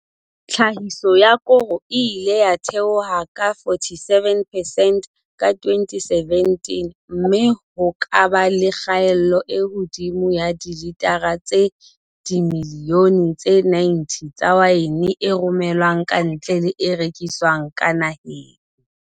Tlhahiso ya koro e ile ya theoha ka 47 percent ka 2017 mme ho ka ba le kgaelo e hodimo ya dilitara tse dimi lione tse 90 tsa waene e rome lwang kantle le e rekiswang ka naheng.